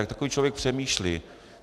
Jak takový člověk přemýšlí?